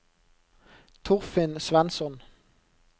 Torfinn Svensson